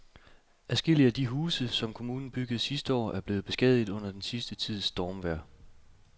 Adskillige af de huse, som kommunen byggede sidste år, er blevet beskadiget under den sidste tids stormvejr.